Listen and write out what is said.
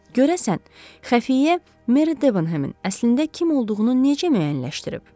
Görəsən, Xəfiyyə Meri Debenhemin əslində kim olduğunu necə müəyyənləşdirib?